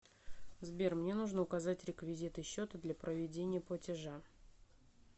сбер мне нужно указать реквизиты счета для проведения платежа